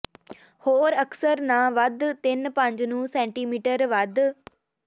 ਹੋਰ ਅਕਸਰ ਨਾ ਵੱਧ ਤਿੰਨ ਪੰਜ ਨੂੰ ਸੈਟੀਮੀਟਰ ਵੱਧ